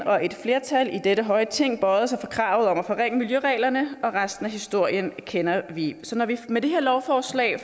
og et flertal i dette høje ting bøjede sig for kravet om at forringe miljøreglerne og resten af historien kender vi så når vi med det her lovforslag